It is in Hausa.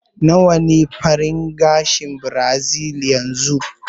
Nawa ne farashin gashin birazil yanzu?